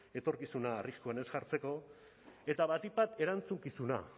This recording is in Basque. etorkizuna arriskuan ez jartzeko eta batik bat erantzukizuna